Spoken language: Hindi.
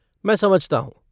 मैं समझता हूँ।